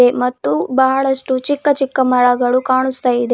ಮತ್ತು ಬಹಳಷ್ಟು ಚಿಕ್ಕ ಚಿಕ್ಕ ಮಳಗಳು ಕಾಣಸ್ತಾಇದೆ.